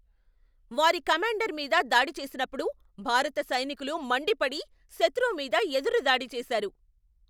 వారి కమాండర్ మీద దాడి చేసినప్పుడు భారత సైనికులు మండిపడి శత్రువు మీద ఎదురు దాడి చేశారు.